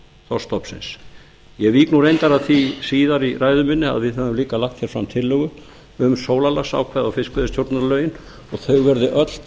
þorskstofnsins ég vík reyndar að því síðar í ræðu minni að við höfum líka lagt fram tillögu um sólarlagsákvæði og fiskveiðistjórnarlögin og þau verði öll